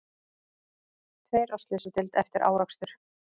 Tveir á slysadeild eftir árekstur